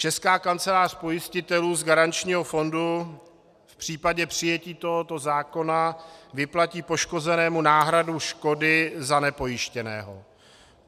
Česká kancelář pojistitelů z garančního fondu v případě přijetí tohoto zákona vyplatí poškozenému náhradu škody za nepojištěného.